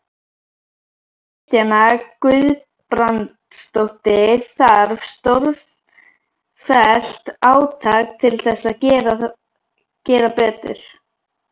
Kristjana Guðbrandsdóttir: Þarf stórfellt átak til þess að gera betur?